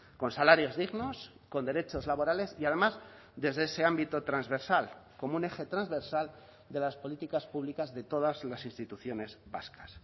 con salarios dignos con derechos laborales y además desde ese ámbito transversal como un eje transversal de las políticas públicas de todas las instituciones vascas